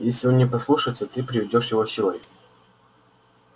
если он не послушается ты приведёшь его силой